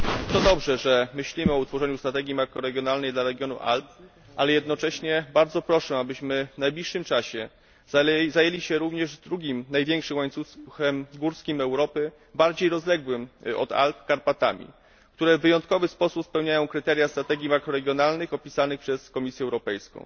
To dobrze, że myślimy o utworzeniu strategii makroregionalnej dla regionu Alp, ale jednocześnie bardzo proszę, abyśmy w najbliższym czasie zajęli się również drugim największym łańcuchem górskim Europy, bardziej rozległym od Alp, czyli Karpatami, które w wyjątkowy sposób spełniają kryteria strategii makroregionalnych opisanych przez Komisję Europejską.